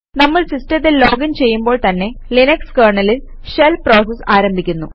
നമ്മൾ സിസ്റ്റത്തിൽ ലോഗിന് ചെയ്യുമ്പോൾ തന്നെ ലിനക്സ് കെര്ണലിൽ ഷെൽ പ്രോസസ് ആരംഭിക്കുന്നു